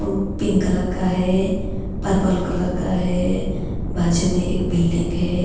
pink colour का है purple colour --